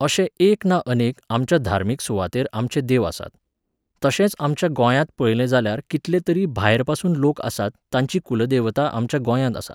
अशें एक ना अनेक, आमच्या धार्मीक सुवातेर आमचे देव आसात. तशेंच आमच्या गोंयांत पळयलें जाल्यार कितले तरी भायरपासून लोक आसात, तांची कुलदेवता आमच्या गोंयांत आसा